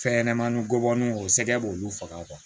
Fɛn ɲɛnɛmani gɔbɔniw o sɛgɛn b'olu faga